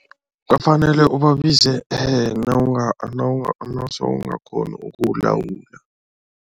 Bafanele ubabize nawuse ungakghoni ukulawula.